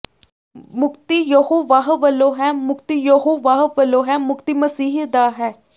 ਮੁਕਤੀ ਯਹੋਵਾਹ ਵੱਲੋਂ ਹੈ ਮੁਕਤੀ ਯਹੋਵਾਹ ਵੱਲੋਂ ਹੈ ਮੁਕਤੀ ਮਸੀਹ ਦਾ ਹੈ